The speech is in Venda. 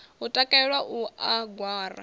a takalela u u gwara